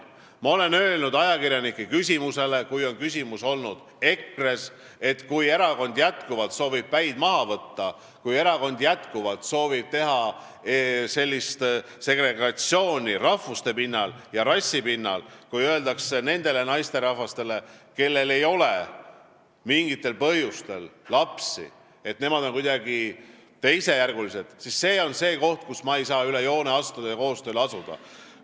Ma olen vastanud ajakirjanike küsimustele, kui jutt on olnud EKRE-st, et kui see erakond jätkuvalt soovib päid maha võtta, kui ta jätkuvalt soovib segregatsiooni rahvuse ja rassi alusel, kui ta ütleb nendele naisterahvastele, kellel ei ole mingil põhjusel lapsi, et nad on kuidagi teisejärgulised, siis need on need kohad, kus ma ei saa üle joone astuda ja koostööle asuda.